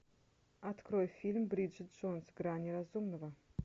открой фильм бриджит джонс грани разумного